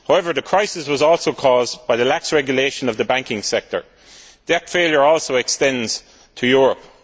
However, the crisis was also caused by lax regulation of the banking sector. That failure also extends to Europe.